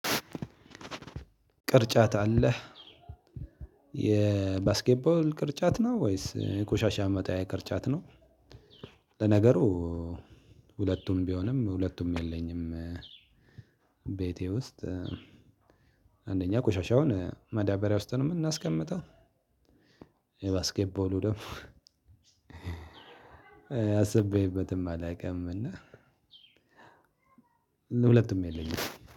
ቅርጫት አለህ የባስኬት ቦል ቅርጫት ነው ወይስ የቆሻሻ መጣያ ቅርጫት ነው? ለነገሩ ሁለቱም ቢሆንም ሁለቱም የለኝም። ቤቴ ውስጥ አንደኛ ቆሻሻውን ማዳበሪያ ውስጥ ነው የምናስቀምጠው። ባስኬትቦሉ ደግሞ አስቤበትም አላውቅም። እና ሁለቱም የለኝም።